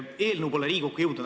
Eelnõu pole Riigikokku jõudnud.